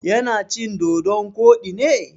Ya na cin dodon koɗi ne?